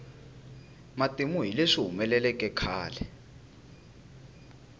matimu hi leswi humeleleke khale